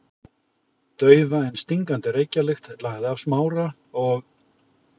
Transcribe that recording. Daufa en stingandi reykjarlykt lagði af Smára og